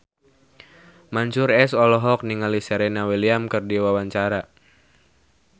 Mansyur S olohok ningali Serena Williams keur diwawancara